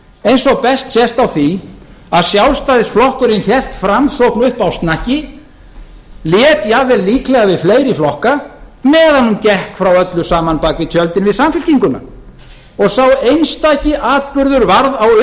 eins og best sést á því að sjálfstæðisflokkurinn hélt framsókn uppi á snakki lét jafnvel líklega við fleiri flokka meðan hann gekk frá öllu saman bak við tjöldin við samfylkinguna og sá einstaki atburður varð á